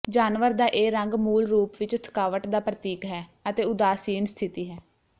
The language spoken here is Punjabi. ਜਾਨਵਰ ਦਾ ਇਹ ਰੰਗ ਮੂਲ ਰੂਪ ਵਿਚ ਥਕਾਵਟ ਦਾ ਪ੍ਰਤੀਕ ਹੈ ਅਤੇ ਉਦਾਸੀਨ ਸਥਿਤੀ ਹੈ